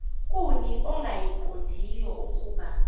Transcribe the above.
kuni ongayiqondiyo ukuba